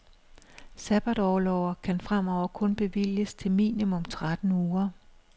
Sabbatorlover kan fremover kun bevilges til minimum tretten uger.